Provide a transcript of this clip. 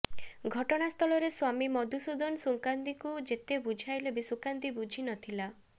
ଘଟଣାସ୍ଥଳରେ ସ୍ବାମୀ ମଧୁସୂଦନ ସୁକାନ୍ତିକୁ ଯେତେ ବୁଝାଇଲେ ବି ସୁକାନ୍ତି ବୁଝି ନଥିଲା